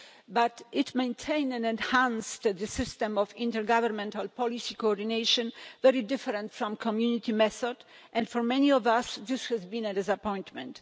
But it maintained and enhanced the system of intergovernmental policy coordination, which was very different from the Community method, and for many of us this has been a disappointment.